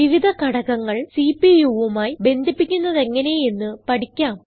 വിവിധ ഘടകങ്ങൾ CPUവുമായി ബന്ധിപ്പിക്കുന്നതെങ്ങനെ എന്ന് പഠിക്കാം